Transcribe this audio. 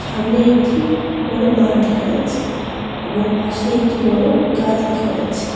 সামনে একটি বড় মাঠ দেখা যাচ্ছে এবং পাশে একটি বড় গাছ দেখা যাচ্ছে।